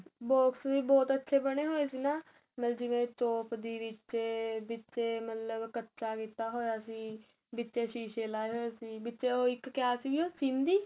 box ਵੀ ਬਹੁਤ ਅੱਛੇ ਬਣੇ ਹੋਏ ਸੀ ਨਾ ਮੈ ਜਿਵੇਂ ਚੋਪਦੀ ਕੱਚਾ ਕੀਤਾ ਹੋਇਆ ਸੀ ਵਿਚੇ ਸ਼ੀਸੇ ਲਾਏ ਹੋਏ ਸੀ ਵਿੱਚ ਇੱਕ ਕਿਆ ਸੀ ਸਿੰਧੀ